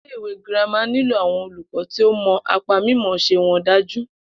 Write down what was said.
Ilé ìwé girama nílò awon olùkó̩ tí ó mo̩ apá mímò̩ó̩s̩e won dájú